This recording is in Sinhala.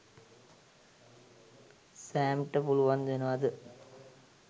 සෑම්ට පුළුවන් වෙනවද